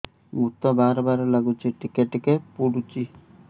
ମୁତ ବାର୍ ବାର୍ ଲାଗୁଚି ଟିକେ ଟିକେ ପୁଡୁଚି